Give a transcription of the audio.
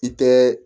I tɛ